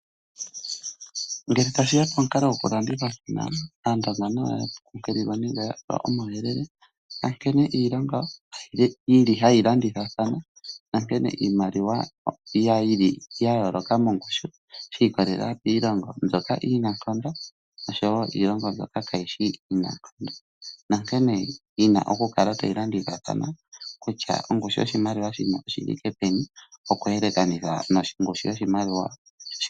Ngele tashi ya pomukalo gokulandithathana, Aandonga nayo wo oya pewa omauyelele ga nkene iilongo hayi landithathana nankene iimaliwa ya yooloka mongushu shi ikolelela kiilongo, mbyoka iinankondo noshowo iilongo mbyoka kaayi shi iinankondo nankene yi na okukala tayi landithathana kutya ongushu yoshimaliwa shino oyi thike peni okuyelekanitha nongushu yoshimaliwa sho.